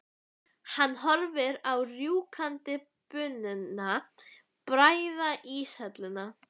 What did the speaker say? Hann horfir á rjúkandi bununa bræða íshelluna.